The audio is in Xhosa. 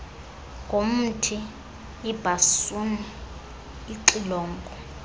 ngomthi ibhasuni ixilongo